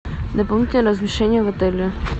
дополнительное размещение в отеле